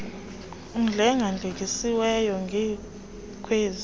uhlenga hlengisiwe ngkwezi